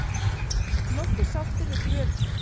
Nokkuð sáttur við kröfurnar